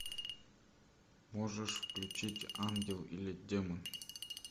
можешь включить ангел или демон